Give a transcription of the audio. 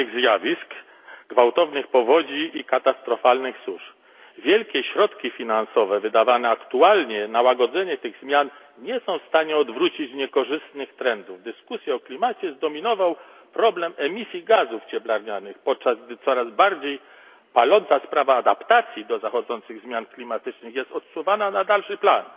Zmiany klimatu prowadzą do ekstremalnych zjawisk, gwałtownych powodzi i katastrofalnych susz. Wielkie środki finansowe wydawane aktualnie na łagodzenie tych zmian nie są w stanie odwrócić niekorzystnych trendów. Dyskusje o klimacie zdominował problem emisji gazów cieplarnianych, podczas gdy coraz bardziej paląca sprawa adaptacji do zachodzących zmian klimatycznych jest odsuwana na dalszy plan.